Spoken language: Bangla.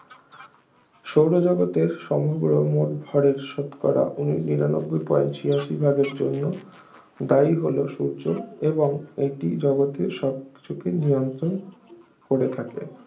সৌর জগতের সমগ্র মোট ভরের শতকরা উন নিরানব্বই point ছিয়াশি ভাগের জন্য দায়ী হল সূর্য এবং এটি জগতের সবকিছুকে নিয়ন্ত্রণ করে থাকে